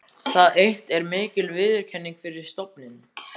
Það eitt er mikil viðurkenning fyrir stofninn.